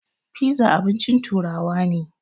Fiza abincin turawa ne.